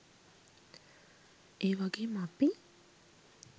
ඒ වගේම අපි